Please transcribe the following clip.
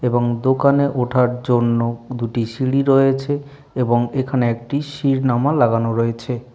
এবং দোকানে ওঠার জন্য দুটি সিঁড়ি রয়েছে। এবং এখানে একটি সিরনামা লাগানো রয়েছে|